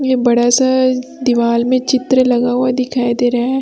ये बड़ा सा दिवाल में चित्र लगा हुआ दिखाई दे रहा है।